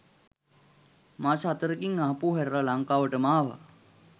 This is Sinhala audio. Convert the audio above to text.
මාස හතරකින් ආපහු හැරිලා ලංකාවටම ආවා.